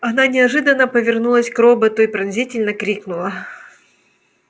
она неожиданно повернулась к роботу и пронзительно крикнула